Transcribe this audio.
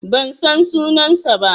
Ban san sunansa ba.